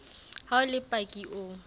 ha o le paki o